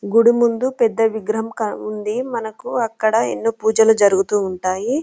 గుడి ముందు పెద్ద విగ్రహం ఉంది మన కు అక్కడ ఎన్నో పూజలు జరుగుతూ ఉంటాయి.